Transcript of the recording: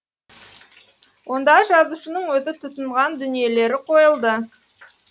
онда жазушының өзі тұтынған дүниелері қойылды